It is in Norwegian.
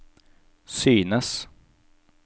synes